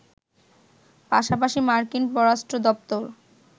পাশাপাশি মার্কিন পররাষ্ট্র দপ্তর